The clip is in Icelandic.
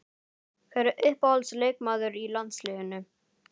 Hver er uppáhalds leikmaður í landsliðinu?